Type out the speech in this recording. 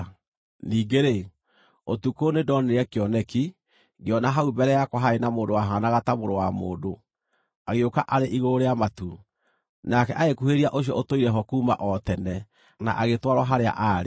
“Ningĩ-rĩ, ũtukũ nĩndonire kĩoneki, ngĩona hau mbere yakwa harĩ na mũndũ wahaanaga ta mũrũ wa mũndũ, agĩũka arĩ igũrũ rĩa matu. Nake agĩkuhĩrĩria Ũcio-Ũtũire-ho-kuuma-o-Tene na agĩtwarwo harĩa aarĩ.